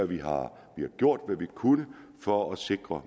vi har gjort hvad vi kunne for at sikre